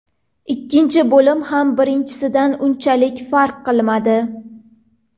Ikkinchi bo‘lim ham birinchisidan unchalik farq qilmadi.